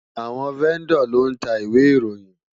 Awòn Vèndò ló ntá Iwé Iróyin